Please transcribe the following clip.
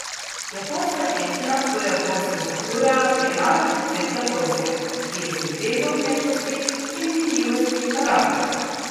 Japonska češnja, po japonsko sakura, je narodni cvet Japonske, ki je sinteza umetnosti in minljivosti narave.